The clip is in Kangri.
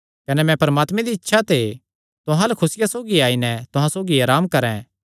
कने मैं परमात्मे दिया इच्छा ते तुहां अल्ल खुसिया सौगी आई नैं तुहां सौगी अराम करैं